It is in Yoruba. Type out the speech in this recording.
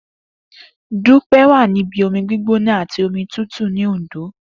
Dupe wà ní ibi omi gbígbóná àti omi tútù ní Òndó